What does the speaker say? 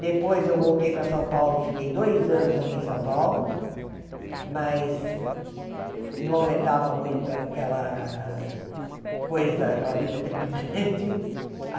Depois eu voltei para São Paulo, fiquei dois anos aqui em São Paulo, mas não aguentava muito aquela coisa, aquela vida trepidante.